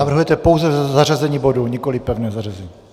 Navrhujete pouze zařazení bodu, nikoliv pevné zařazení?